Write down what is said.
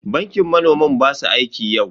Bankin manoman ba su aiki yau.